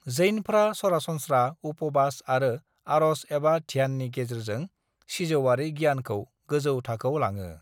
जैनफ्रा सरासनस्रा उपवास आरो आर'ज एबा ध्याननि गेजेरजों सिजौआरि गियानखौ गोजौ थाखोआव लाङो।